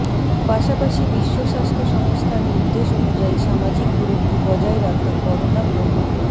পাশাপাশি বিশ্ব স্বাস্থ্য সংস্থার নির্দেশ অনুযায়ী সামাজিক দূরত্ব বজায় রাখা করোনা প্রত